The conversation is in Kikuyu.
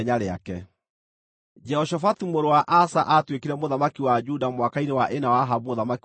Jehoshafatu mũrũ wa Asa aatuĩkire mũthamaki wa Juda mwaka-inĩ wa ĩna wa Ahabu mũthamaki wa Isiraeli.